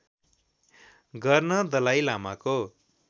गर्न दलाइ लामाको